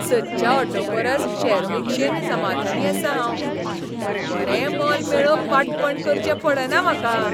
सदच्या ऑटो परस शेअर रीक्षेन समाधानी आसां हांव. बरें मोल मेळोवंक वांटपण करचें पडना म्हाका.